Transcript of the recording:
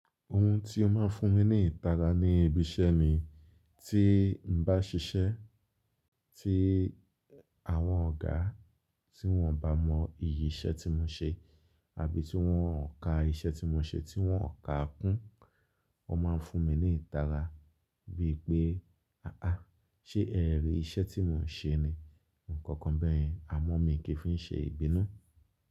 Ohun tí ó máa ń fún mi ní ìtara ni ibi iṣẹ́ ni, tí n bá ṣiṣẹ́ tí àwọn ọ̀gá tí wọn bà mọ ìyí iṣẹ́ tí mo ṣe àbí tí wọn ò ka iṣẹ́ tí mo ṣe tí wọn ò ka kún, wọ́n máa ń fún mi ní ìtara bí ì pé, "à á, ṣé ẹ rí iṣẹ́ tí mo ń ṣe ni?" Ǹkankan bẹ́ẹ̀ yen, àmọ́ mi kì í fi ṣe ìbínú.